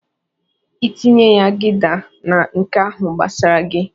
"I tinye ya Gida na nke ahụ gbasara gi."